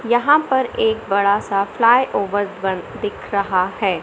यहा पर एक बड़ासा फ्लाई ओवर बन दिख रहा है।